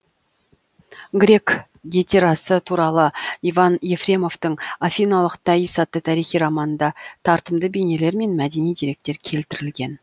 грек гетерасы туралы иван ефремовтың афиналық таис атты тарихи романында тартымды бейнелер мен мәдени деректер келтірілген